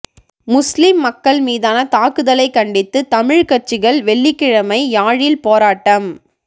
முஸ்லிம் மக்கள் மீதான தாக்குதலைக் கண்டித்து தமிழ்க் கட்சிகள் வெள்ளிக்கிழமை யாழில் போராட்டம்